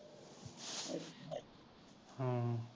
ਹਮ